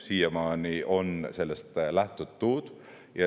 Siiamaani on sellest lähtutud.